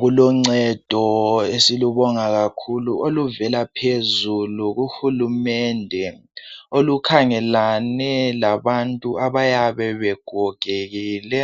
Kuloncedo esilubonga kakhulu oluvela phezulu kuhulumende olukhangelane labantu abayabe begogekile